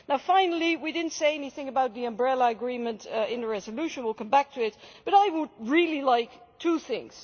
Finally, we did not say anything about the umbrella agreement in the resolution, we will come back to it, but I would really like two things.